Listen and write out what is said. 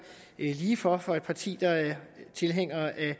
lige for for et parti der er tilhænger af at